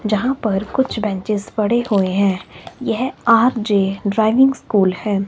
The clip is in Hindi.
यहां पर कुछ बेंचेस पड़े हुए हैं यह आर_जे ड्राइविंग स्कूल है।